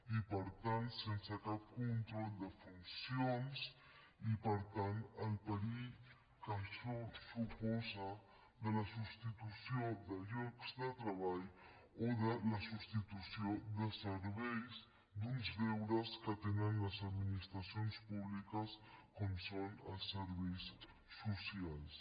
i per tant sense cap control de funcions i per tant el perill que això suposa de la substitució de llocs de treball o de la substitució de serveis d’uns deures que tenen les administracions públiques com són els serveis socials